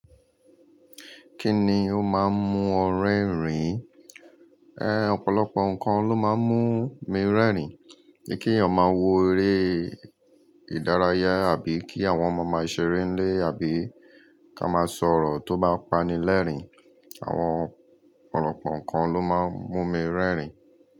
Kí ni ó máa ń mú ọ rẹ́rìn-ín? Ọ̀pọ̀lọpọ̀ nǹkan ló máa ń mú mi rẹ́rìn-ín. Bí kí èèyàn máa wo eré ìdárayá àbí kí àwọn ọmọ máa ṣeré nílé àbí ká máa sọ̀rọ̀ tó bá pani lẹ́rìn-ín. Àwọn ọ̀pọ̀lọpọ̀ nǹkan ló máa ń mú mi rẹ́rìn-ín.